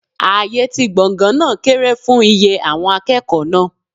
Ààyè ti gbọ̀ngàn náà kéré fún iye àwọn akẹ́kọ̀ọ́ náà.